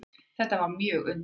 Þetta var mjög undarlegt.